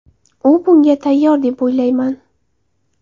U bunga tayyor deb o‘ylamayman.